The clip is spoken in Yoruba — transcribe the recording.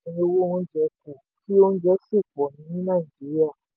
owó oúnjẹ kù kí oúnjẹ sì pọ̀ ní nàìjíríà.